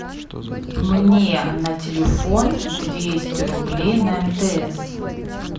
мне на телефон двести рублей на мтс